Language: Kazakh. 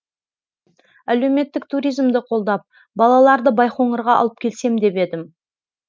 әлеуметтік туризмді қолдап балаларды байқоңырға алып келсем деп едім